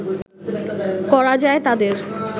করা যায় তাদের